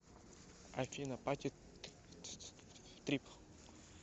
афина пати трип